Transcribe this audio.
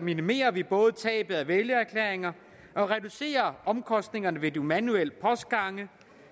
minimerer vi både tabet af vælgererklæringer og reducerer omkostningerne ved de manuelle postgange